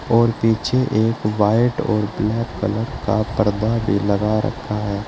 और पीछे एक वाइट और ब्लैक कलर का पर्दा भी लगा रखा है।